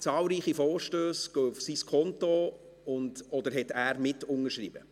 Zahlreiche Vorstösse gehen auf sein Konto, und/oder er hat mitunterschrieben.